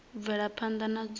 u bvela phanda na dzula